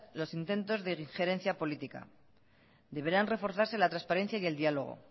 los intentos de injerencia política deberán reforzarse la transparencia y el diálogo